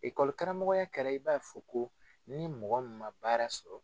karamɔgɔya kɛra i b'a ye f'u ko ni mɔgɔ min ma baara sɔrɔ